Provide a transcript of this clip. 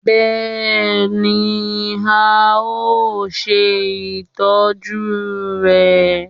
bẹẹni, a o ṣe itọju rẹ